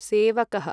सेवकः